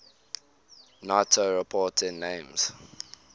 nato reporting names